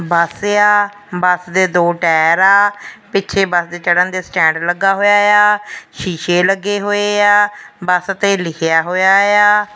ਬਸ ਆ ਬੱਸ ਦੇ ਦੋ ਟਾਇਰ ਆ ਪਿੱਛੇ ਬਸ ਤੇ ਚੜਨ ਦੇ ਸਟੈਂਡ ਲੱਗਾ ਹੋਇਆ ਆ ਸ਼ੀਸ਼ੇ ਲੱਗੇ ਹੋਏ ਆ ਬਸ ਤੇ ਲਿਖਿਆ ਹੋਇਆ ਆ।